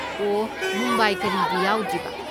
ꯑꯣ, ꯃꯨꯝꯕꯥꯏ ꯀꯔꯤꯒꯤ ꯌꯥꯎꯗ꯭ꯔꯤꯕ?